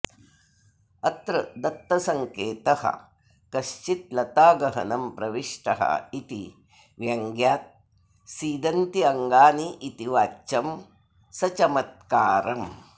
अत्र दत्तसङ्केतः कश्चिल्लतागहनं प्रविष्ट इति व्यङ्ग्यात् सीदन्त्यङ्गानीति वाच्यं सचमत्कारम्